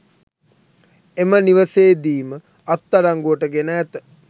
එම නිවසේදීම අත්අඩංගුවට ගෙන ඇත